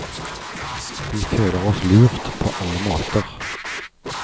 Vi føler oss lurt på alle måter.